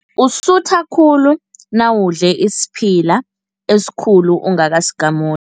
Usutha khulu nawudle isiphila esikhulu ungakasigamuli.